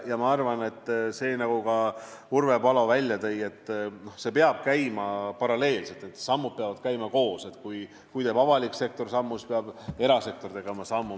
Nagu ka Urve Palo välja tõi, see peab käima paralleelselt, sammud peavad käima koos: kui teeb avalik sektor sammu, siis peab ka erasektor tegema sammu.